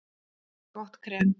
Gott krem